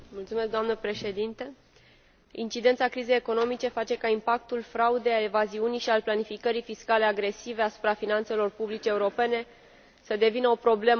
Incidența crizei economice face ca impactul fraudei, al evaziunii și al planificării fiscale agresive asupra finanțelor publice europene să devină o problemă politică din ce în ce mai stringentă.